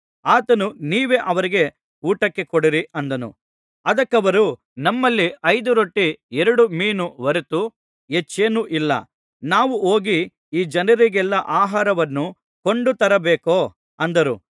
ಆತನು ನೀವೇ ಅವರಿಗೆ ಊಟಕ್ಕೆ ಕೊಡಿರಿ ಅಂದನು ಅದಕ್ಕವರು ನಮ್ಮಲ್ಲಿ ಐದು ರೊಟ್ಟಿ ಎರಡು ಮೀನು ಹೊರತು ಹೆಚ್ಚೇನೂ ಇಲ್ಲ ನಾವು ಹೋಗಿ ಈ ಜನರಿಗೆಲ್ಲಾ ಆಹಾರವನ್ನು ಕೊಂಡು ತರಬೇಕೋ ಅಂದರು